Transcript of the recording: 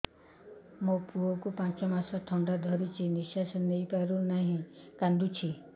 ମୋ ଛୁଆକୁ ପାଞ୍ଚ ମାସ ଥଣ୍ଡା ଧରିଛି ନିଶ୍ୱାସ ନେଇ ପାରୁ ନାହିଁ କାଂଦୁଛି